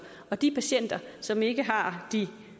og de patienter som ikke har de